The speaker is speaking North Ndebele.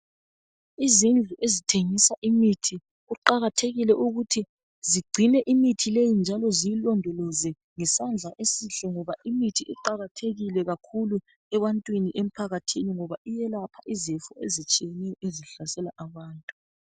Izindlu ezithengisa imithi kuqakathekile ukuthi zicine imithi leyi njalo ziyilondoloze ngesandla esihle ngoba imithi iqakathekile kakhulu ebantwini emphakathini ngoba iyelapha izifo ezinengi ezihlasela abantu.